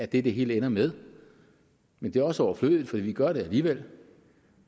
det det hele ender med men det er også overflødigt for vi gør det alligevel